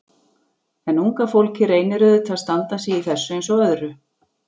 En unga fólkið reynir auðvitað að standa sig í þessu eins og öðru.